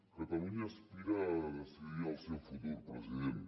catalunya aspira a decidir el seu futur president